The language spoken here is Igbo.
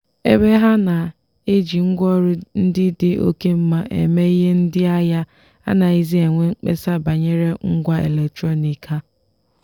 ebe ha na-eji ngwaọrụ ndị dị oke mma eme ihe ndị ahịa anaghịzi enwe mkpesa banyere ngwa eletrọnịkị ha.